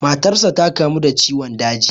Matarsa da kamu da ciwon daji.